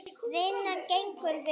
Vinnan gengur vel.